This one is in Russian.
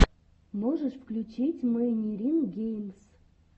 можешь включить мэйнирин геймс